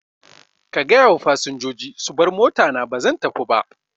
Ka gayawa fasinjoji su bar motana bazan tafiba